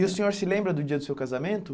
E o senhor se lembra do dia do seu casamento?